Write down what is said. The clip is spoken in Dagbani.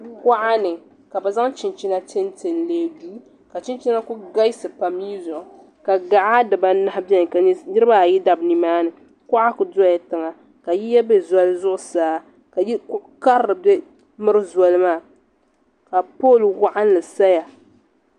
Kuɣani ka bɛ chɛnchɛna n lɛɛ duu ka chɛnna kul galsi pam mii ƶʋɣu ka gaɣa di baanahi bɛni ka niriba ayi bɛ nimaani kuɣa kudola tiga ka yiya bɛ ƶoli ƶuɣusaa ka kuɣu karili kul miri ƶoli maa ka poll waɣɛnli saya.